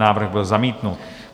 Návrh byl zamítnut.